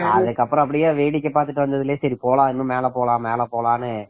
அதுக்கு அப்புறம் இது ஃப்ரீயா வேடிக்கை பார்த்துட்டு வந்ததுக்கப்புறம் மேல போலாம் மேலே போலாம்னு